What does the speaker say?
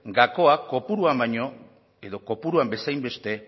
gakoa kopuruan baino edo kopuruan bezainbeste